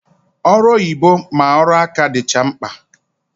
Ọrụ oyibo ma ọrụ aka dịcha mkpa